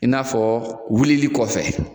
I n'a fɔ wulili kɔfɛ